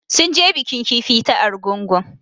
Sun je bikin kifi ta Argungu